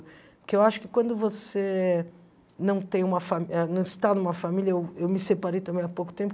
Porque eu acho que quando você não tem uma fa eh não está numa família... Eu eu me separei também há pouco tempo.